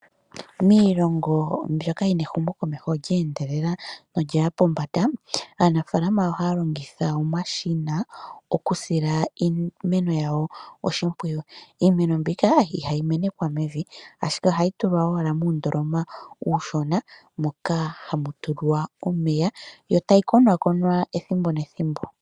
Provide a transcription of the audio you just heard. Miilongo mbyoka yina ehumo komeho lye endelela nolyaya pombanda aanafalama ohaya longitha omashina okusila iimeno yawo oshimpwiyu iimeno mbika ihayi menekwa mevi ashike ohayi tulwa owala muundoloma uushona moka hamu tulwa omeya yo tayi konakonwa ethimbo nethimbo.